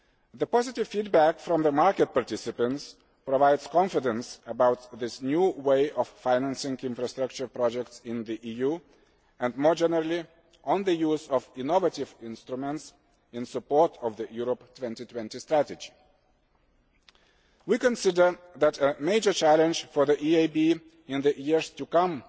The positive feedback from market participants provides confidence about this new way of financing infrastructure projects in the EU and, more generally, on the use of innovative instruments in support of the Europe 2020 Strategy. We consider that a major challenge for the EIB in the years to come